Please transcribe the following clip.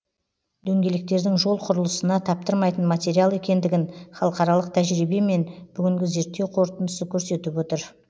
дөңгелектердің жол құрылысына таптырмайтын материал екендігін халықаралық тәжірибе мен бүгінгі зерттеу қорытындысы көрсетіп отыр